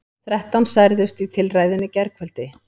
Þrettán særðust í tilræðinu í gærkvöldi